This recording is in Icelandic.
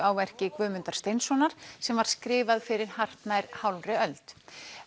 á verki Guðmundar Steinssonar sem var skrifað fyrir hartnær hálfri öld